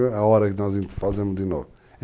É a hora que nós fazemos de novo.